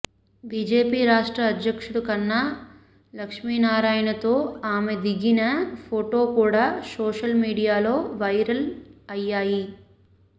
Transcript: BJP రాష్ట్ర అధ్యక్షుడు కన్నా లక్ష్మీనారాయణతో ఆమె దిగిన ఫోటో కూడా సోషల్ మీడియాలో వైరల్ అయ్యాయి